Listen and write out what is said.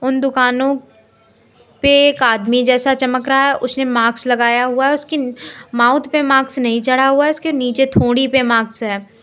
उन दुकानों पे एक आदमी जैसा चमक रहा है उसने माक्स लगाया हुआ है उसकीन माउथ पे माक्स नहीं चढ़ा हुआ है इसके नीचे थोड़ी पे माक्स है।